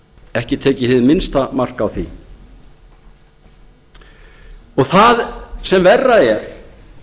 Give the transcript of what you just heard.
ekki tekið hið minnsta mark á því og það sem verra er